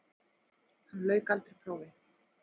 Hann lauk aldrei prófi.